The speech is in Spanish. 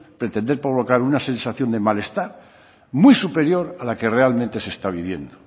pretender provocar una sensación de malestar muy superior a la que realmente se está viviendo